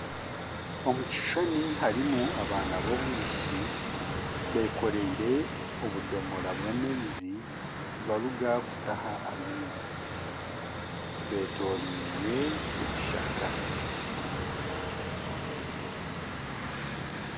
Omu kishushani harimu abana b'abaishiki beekoreire obudomoro bw'amaizi nibaruga kutaha amaizi, beetoriirwe ekishaka